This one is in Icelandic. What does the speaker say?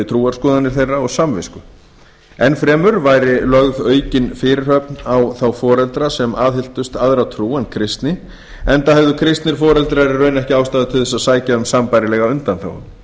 trúarskoðanir þeirra og samvisku enn fremur væri lögð aukin fyrirhöfn á þá foreldra sem aðhylltust aðra trú en kristni enda hefðu kristnir foreldrar í raun ekki ástæðu til að sækja um sambærilega undanþágu